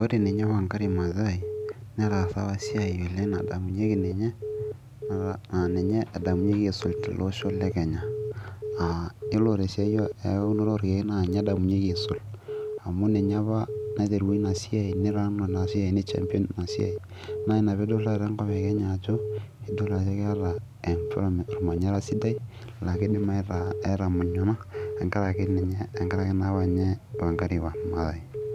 ore ninye Wangari maathai netaasa apa esiai oleng nadamunyieki ninye naa ninye edamunyieki aisul tolosho le kenya yiolo tesiai eunoto orkeek naa ninye edamunyieki aisul amu ninye apa naiterua ina siai ni run ina siai ni champion ina siai naa ina piidol taata enkop e kenya ajo idol ajo keeta ormanyara sidai laa kidim aitumunyano tenkarake naa ninye Wangari maathai.